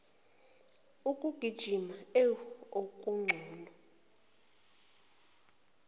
ukugijima ewu okungcono